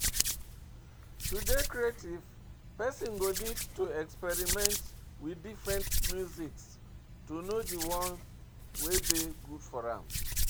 To dey creative person go need to experiment with different music to know di one wey dey good for am